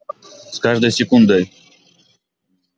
с каждой секундой